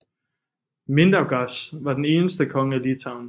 Mindaugas var den eneste konge af Litauen